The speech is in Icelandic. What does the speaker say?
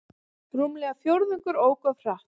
Rúmlega fjórðungur ók of hratt